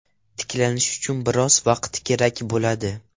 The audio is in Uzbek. Tiklanish uchun biroz vaqt kerak bo‘ladi.